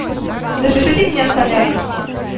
запишите меня в солярий